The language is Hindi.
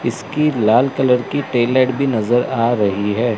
इसकी लाल कलर की टेल लाइट भी नजर आ रही है।